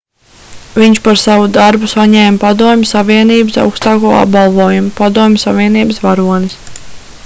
viņš par savu darbu saņēma padomju savienības augstāko apbalvojumu padomju savienības varonis